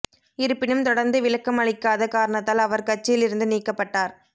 இருப்பினும் தொடா்ந்து விளக்கம் அளிக்காத காரணத்தால் அவா் கட்சியில் இருந்து நீக்கப்பட்டார்